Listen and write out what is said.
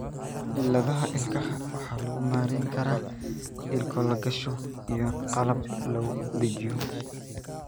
Cilladaha ilkaha waxaa lagu maareyn karaa ilko la gashado iyo qalab lagu dhejiyo.